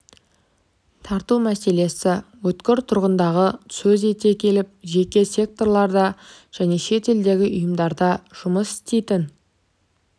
тарту мәселесі өткір тұрғандығын сөз ете келіп жеке секторларда және шет елдердегі ұйымдарда жұмыс істейтін